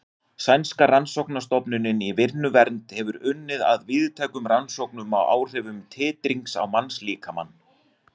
Sænska rannsóknastofnunin í vinnuvernd hefur unnið að víðtækum rannsóknum á áhrifum titrings á mannslíkamann.